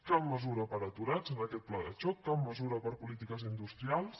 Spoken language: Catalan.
cap mesura per a aturats en aquest pla de xoc cap mesura per a polítiques industrials